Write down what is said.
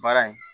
Baara in